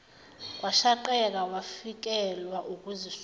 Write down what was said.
washaqeka wafikelwa ukuzisola